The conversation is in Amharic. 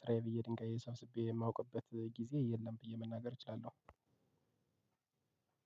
ስራዬ ብዬ ድንጋይ ሰብስቤ የማውቅበት ጊዜ የለም ብዬ መናገር እችላለሁ።